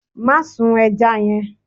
Má sun eja yẹn.